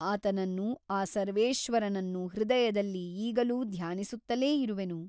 ಆತನನ್ನು ಆ ಸರ್ವೇಶ್ವರನನ್ನು ಹೃದಯದಲ್ಲಿ ಈಗಲೂ ಧ್ಯಾನಿಸುತ್ತಲೇ ಇರುವೆನು.